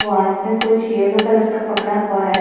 वो आदमी कुछ येल्लो कलर का पकड़ा हुआ है।